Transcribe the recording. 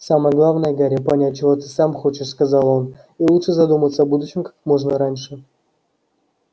самое главное гарри понять чего ты сам хочешь сказал он и лучше задуматься о будущем как можно раньше